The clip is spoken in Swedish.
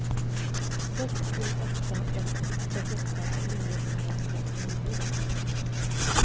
sex sju åtta ett trettioåtta niohundrafemtionio